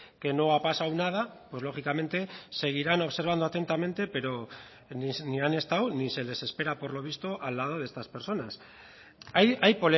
que no ha pasado nada pues lógicamente seguirán observando atentamente pero ni han estado ni se les espera por lo visto al lado de estas personas hay